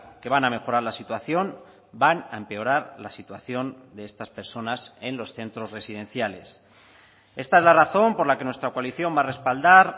que van a mejorar la situación van a empeorar la situación de estas personas en los centros residenciales esta es la razón por la que nuestra coalición va a respaldar